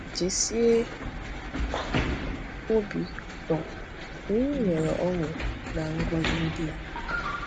Jisie obi ụtọ na ị nwere ọṅụ na ngọzi ndị a.